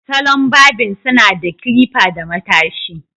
Salon barbing suna da clipper da matashi.